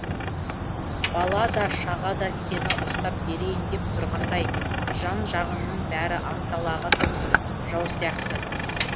бала да шаға да сені ұстап берейін деп тұрғандай жан жағыңның бәрі анталағын жау сияқты